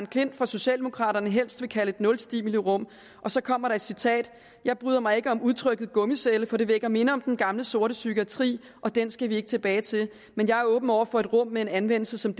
klint fra socialdemokraterne helst vil kalde et nulstimulirum og så kommer der et citat jeg bryder mig ikke om udtrykket gummicelle for det vækker minder om den gamle sorte psykiatri og den skal vi ikke tilbage til men jeg er åben over for et rum med en anvendelse som